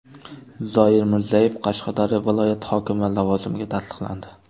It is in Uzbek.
Zoir Mirzayev Qashqadaryo viloyati hokimi lavozimiga tasdiqlandi.